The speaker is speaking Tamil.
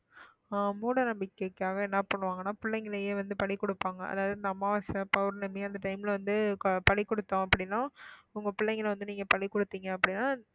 ஆஹ் மூடநம்பிக்கைக்காக என்ன பண்ணுவாங்கன்னா பிள்ளைங்களையே வந்து பலி கொடுப்பாங்க அதாவது இந்த அமாவாசை, பௌர்ணமி அந்த time ல வந்து பலி கொடுத்தோம் அப்படின்னா உங்க பிள்ளைங்களை வந்து நீங்க பலி கொடுத்தீங்க அப்படின்னா